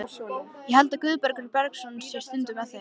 Ég held að Guðbergur Bergsson sé stundum með þeim.